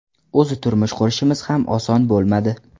O‘zi turmush qurishimiz ham oson bo‘lmadi.